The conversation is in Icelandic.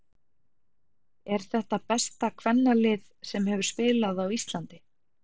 Er þetta besta kvennalið sem hefur spilað á Íslandi?